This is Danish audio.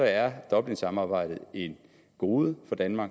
er dublinsamarbejdet et gode for danmark